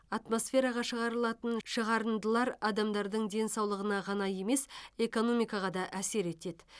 атмосфераға шығарылатын шығарындылар адамдардың денсаулығына ғана емес экономикаға да әсер етеді